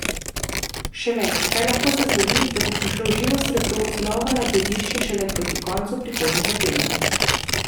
Še več, kaj lahko se zgodi, da bo prišlo živo srebro znova nad ledišče šele proti koncu prihodnjega tedna.